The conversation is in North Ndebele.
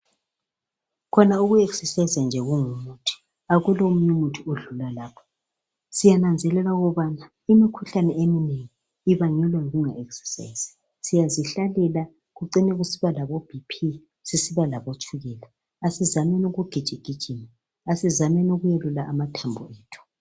Khona uku exesayiza nje kungumuthi, akukho omunye umuthi odlula lapho, siyananzelela ukubana imikhuhlane eminengi ibangelwa yikunga ekisesayizi. Siyazihlalela kucine kusiba labo BP, susiba labotshukula. Asizameni ukugijigijima, asizameni ukwelula amathambo ethu